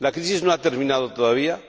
La crisis no ha terminado todavía